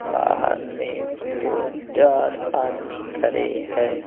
बाहर में दो चार आदमी खरे है।